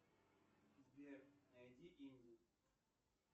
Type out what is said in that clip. сбер найди индию